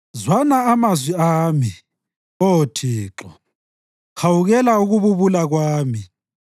Zwana amazwi ami, Oh Thixo, hawukela ukububula kwami.